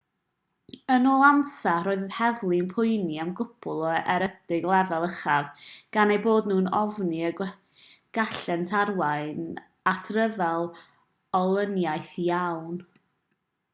yn ôl ansa roedd yr heddlu'n poeni am gwpl o ergydion lefel uchaf gan eu bod nhw'n ofni y gallent arwain at ryfel olyniaeth lawn